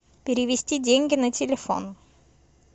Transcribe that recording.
перевести деньги на телефон